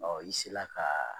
Ɔ i sela kaaa